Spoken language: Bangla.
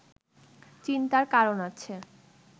চিন্তার কারণ আছে